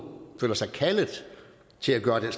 føler sig kaldet til at gøre den